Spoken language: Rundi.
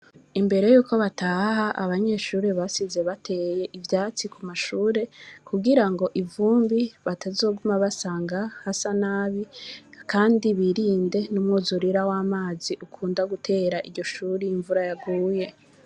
Imbere yuko bataha abanyeshuri basize bateye ivyatsi ku mashuri ku girango ivumbi batazoguma basanga hasa nabi kandi birinde n'umwuzurira w'amazi akunda gutera iryo shuri imvura yaguye.